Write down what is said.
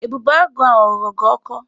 Ebubeagụ ahụ ọ ghọrọ gị ọkọ?